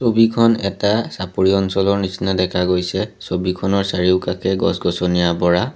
ছবিখন এটা চাপৰি অঞ্চলৰ নিচিনা দেখা গৈছে ছবিখনৰ চাৰিওকাষে গছ-গছনিয়ে আৱৰা।